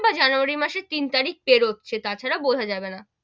বা january মাসের তিন তারিক বেরোচ্ছে, তা ছাড়া বোঝা যাবে না,